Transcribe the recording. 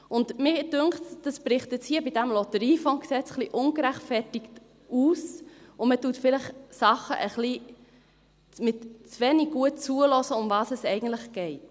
Mir scheint, das bricht jetzt hier bei diesem LotG etwas ungerechtfertigt aus, und man hört bei diesen Sachen vielleicht etwas zu wenig gut zu, worum was es eigentlich geht.